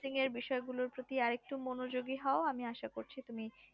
freelancing এর বিষয় গুলোর পতি আর একটু মনোযোগী হও আমি আশা করছি তুমি